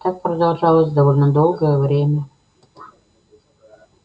так продолжалось довольно долгое время